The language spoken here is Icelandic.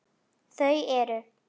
Þau eru